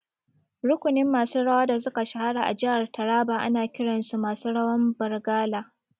Rukunin masu rawa da suka shahara a jihar Taraba ana kiran su masu rawan Bargalar